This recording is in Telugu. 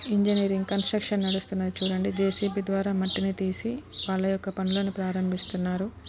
ఇంజనీరింగ్ కన్స్ట్రక్షన్ నడుస్తున్నాయి. చుడండి జేసీబీ ద్వారా మట్టిని తీసి వాలా ఒక్క పనులు ను ప్రారంభిస్తున్నారు.